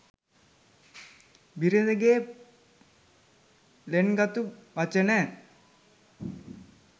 බිරිඳගේ ළෙන්ගතු වචන